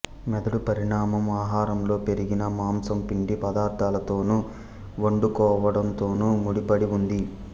మెదడు పరిణామం ఆహారంలో పెరిగిన మాంసం పిండి పదార్ధాలతోను వండుకోవడం తోనూ ముడిపడి ఉంది